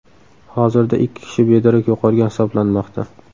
Hozirda ikki kishi bedarak yo‘qolgan hisoblanmoqda.